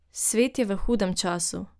Svet je v hudem času.